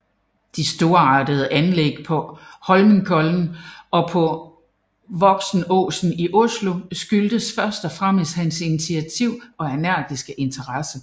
De storartede anlæg på Holmenkollen og på Voksenåsen i Oslo skyldtes først og fremmest hans initiativ og energiske interesse